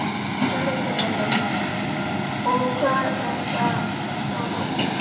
Sölvi Tryggvason: Og hvað er það stór hópur?